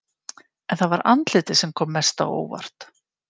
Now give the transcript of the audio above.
En það var andlitið sem kom mest á óvart.